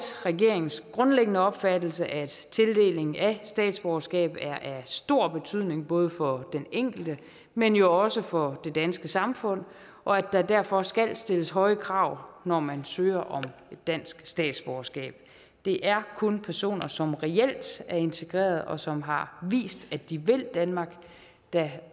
regeringens grundlæggende opfattelse at tildeling af statsborgerskab er af stor betydning både for den enkelte men jo også for det danske samfund og at der derfor skal stilles høje krav når man søger om dansk statsborgerskab det er kun personer som reelt er integreret og som har vist at de vil danmark der